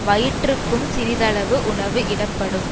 வயிற்றுக்கும் சிறிதளவு உணவு இடப்படும்